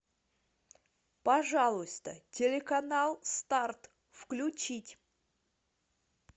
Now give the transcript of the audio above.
пожалуйста телеканал старт включить